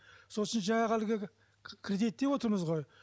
сосын жаңағы әлгі кредит деп отырмыз ғой